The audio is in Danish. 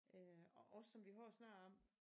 Øh og også som vi har snakket om